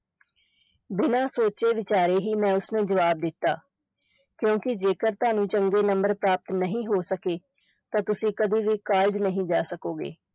ਬਿਨਾ ਸੋਚੇ-ਵਿਚਾਰੇ ਹੀ ਮੈਂ ਉਸ ਨੂੰ ਜਵਾਬ ਦਿੱਤਾ, ਕਿਉਂਕਿ ਜੇਕਰ ਤੁਹਾਨੂੰ ਚੰਗੇ number ਪ੍ਰਾਪਤ ਨਹੀਂ ਹੋ ਸਕੇ ਤਾਂ ਤੁਸੀਂ ਕਦੇ ਵੀ college ਨਹੀ ਜਾ ਸਕੋਗੇ।